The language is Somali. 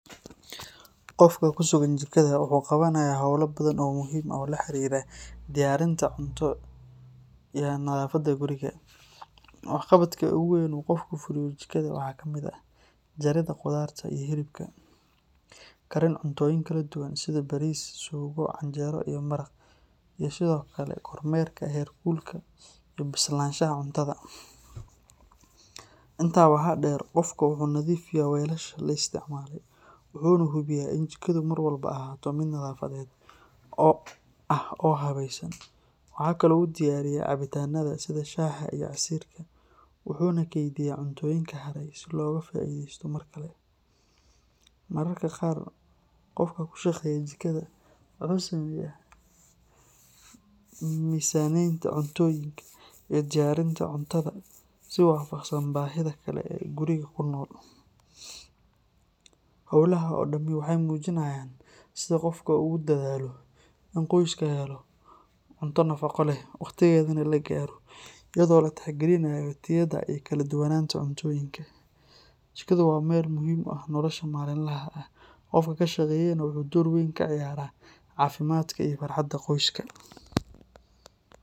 Qofka ku sugan jikada wuxuu qabanayaa hawlo badan oo muhiim ah oo la xiriira diyaarinta cunto iyo nadaafadda guriga. Waxqabadka ugu weyn ee uu qofku ka fuliyo jikada waxaa ka mid ah jaridda khudaarta iyo hilibka, karin cuntooyinka kala duwan sida bariis, suugo, canjeero iyo maraq, iyo sidoo kale kormeerka heer kulka iyo bislaanshaha cuntada. Intaa waxaa dheer, qofka wuxuu nadiifiyaa weelasha la isticmaalay, wuxuuna hubiyaa in jikadu mar walba ahaato mid nadaafadeed ah oo habaysan. Waxaa kale oo uu diyaariyaa cabitaanada sida shaaha iyo casiirka, wuxuuna kaydiyaa cuntooyinka haray si looga faa’iideysto mar kale. Mararka qaar, qofka ku shaqeeya jikada wuxuu sameeyaa miisaaneynta cuntooyinka iyo diyaarinta cuntada si waafaqsan baahida dadka ee guriga ku nool. Hawlahan oo dhami waxay muujinayaan sida qofka ugu dadaalo in qoyska helo cunto nafaqo leh, waqtigeedana la gaaro, iyadoo la tixgelinayo tayada iyo kala duwanaanta cuntooyinka. Jikadu waa meel muhiim u ah nolosha maalinlaha ah, qofka ka shaqeeyana wuxuu door weyn ka ciyaaraa caafimaadka iyo farxadda qoyska.